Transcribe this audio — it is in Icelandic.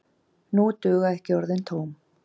Nú duga ekki orðin tóm.